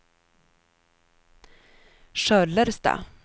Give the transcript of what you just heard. Sköllersta